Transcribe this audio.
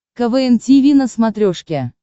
квн тиви на смотрешке